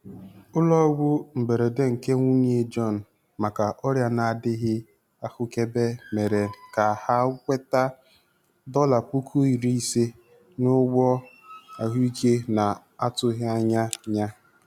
Ụlọọgwụ mberede nke nwunye Jọn maka ọrịa na-adịghị ahụkebe mere ka ha nweta dọla puku iri ise n'ụgwọ ahụike na-atụghị anya ya.